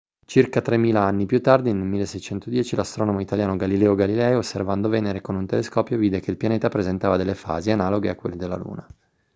circa tremila anni più tardi nel 1610 l'astronomo italiano galileo galilei osservando venere con un telescopio vide che il pianeta presentava delle fasi analoghe a quelle della luna